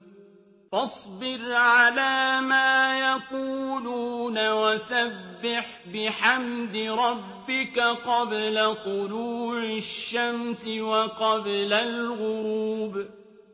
فَاصْبِرْ عَلَىٰ مَا يَقُولُونَ وَسَبِّحْ بِحَمْدِ رَبِّكَ قَبْلَ طُلُوعِ الشَّمْسِ وَقَبْلَ الْغُرُوبِ